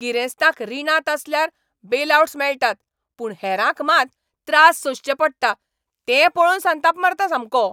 गिरेस्तांक रिणांत आसल्यार बेलआउट्स मेळटात पूण हेरांक मात त्रास सोंसचे पडटात तें पळोवन संताप मारता सामको.